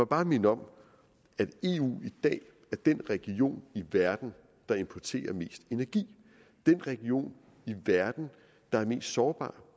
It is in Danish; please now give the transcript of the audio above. bare minde om at eu i dag er den region i verden der importerer mest energi den region i verden der er mest sårbar